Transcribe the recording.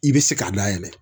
I bɛ se k'a layɛlɛn